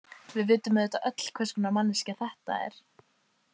Við vitum auðvitað öll hvers konar manneskja þetta er.